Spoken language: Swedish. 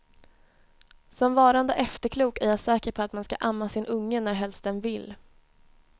Som varande efterklok, är jag säker på att man ska amma sin unge närhelst den vill.